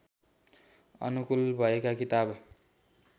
अनुकूल भएका किताब